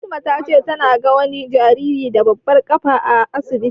Fatima ta ce ta ga wani jariri da babbar ƙafa a asibiti.